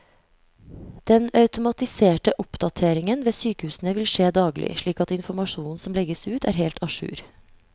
Den automatiserte oppdateringen ved sykehusene vil skje daglig, slik at informasjonen som legges ut er helt a jour.